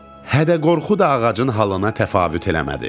Hədə-qorxu da ağacın halına təfavüt eləmədi.